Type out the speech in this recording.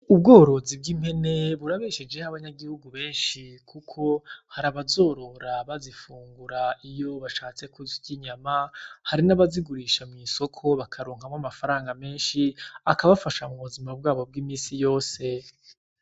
Ubworozi bw'impene burabeshejeho abanyagihugu benshi kuko hari abazorora bazifungura iyo bashatse kurya inyama. Hari n’abazigurisha mu isoko bakaronkamwo amafaranga menshi, akabafasha mu buzima bwabo bw’imisi yose.